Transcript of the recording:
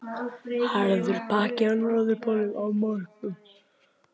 Harður pakki á Norðurpólnum á morgun